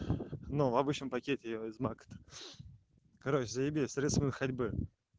ну обычном пакете знак короче заеби средствами ходьбы